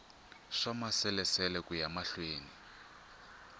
swa maasesele ku ya mahlweni